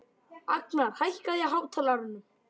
Agnar, hækkaðu í hátalaranum.